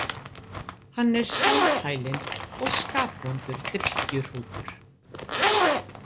Hann er sjálfhælinn og skapvondur drykkjuhrútur.